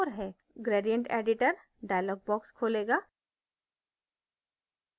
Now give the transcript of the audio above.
gradient editor dialog box खोलेगा